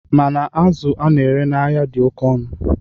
Mana azụ a na-ere n'ahịa dị oke ọnụ.